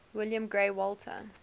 william grey walter